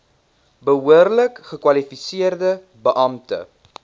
behoorlik gekwalifiseerde beampte